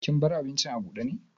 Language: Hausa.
Kin bar abincin abude ne?